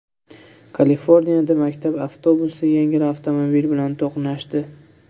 Kaliforniyada maktab avtobusi yengil avtomobil bilan to‘qnashdi.